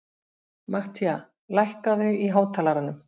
Matthía, lækkaðu í hátalaranum.